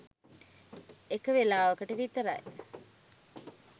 එක වෙලාවකට විතරයි.